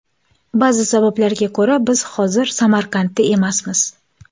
Ba’zi sabablarga ko‘ra biz hozir Samarqandda emasmiz.